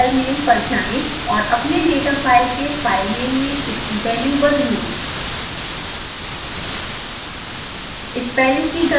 variable filename पर जाएँ और अपने डेटा फाइल के फाइलनेम में इसकी वैल्यू बदलें